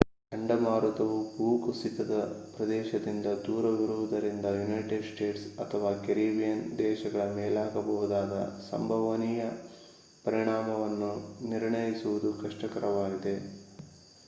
ಚಂಡಮಾರುತವು ಭೂಕುಸಿತದ ಪ್ರದೇಶದಿಂದ ದೂರವಿರುವುದರಿಂದ ಯುನೈಟೆಡ್ ಸ್ಟೇಟ್ಸ್ ಅಥವಾ ಕೆರಿಬಿಯನ್ ದೇಶಗಳ ಮೇಲಾಗಬಹುದಾದ ಸಂಭವನೀಯ ಪರಿಣಾಮವನ್ನು ನಿರ್ಣಯಿಸುವುದು ಕಷ್ಟಕರವಾಗಿದೆ